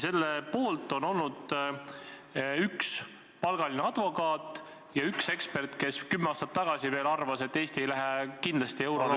Selle poolt on olnud üks palgaline advokaat ja üks ekspert, kes kümme aastat tagasi veel arvas, et Eesti ei lähe kindlasti eurole üle ...